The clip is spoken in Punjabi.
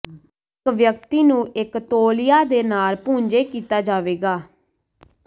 ਇੱਕ ਵਿਅਕਤੀ ਨੂੰ ਇੱਕ ਤੌਲੀਆ ਦੇ ਨਾਲ ਪੂੰਝੇ ਕੀਤਾ ਜਾਵੇਗਾ